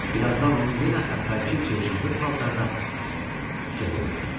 Bir azdan onu yenə əvvəlki cır-cındır paltarda küçədə gördülər.